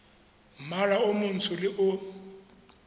mmala o montsho le o